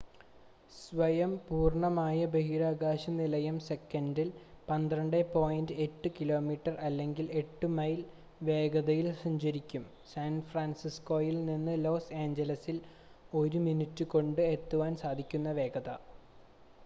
സ്വയം പൂർണ്ണമായ ബഹിരാകാശ നിലയം സെക്കൻഡിൽ 12.8 കിലോമീറ്റർ അല്ലെങ്കിൽ 8 മൈൽ വേഗതയിൽ സഞ്ചരിക്കും സാൻഫ്രാൻസിസ്കോയിൽ നിന്ന് ലോസ് ഏഞ്ചൽസിൽ ഒരു മിനിറ്റ് കൊണ്ട് എത്തുവാൻ സാധിക്കുന്ന വേഗത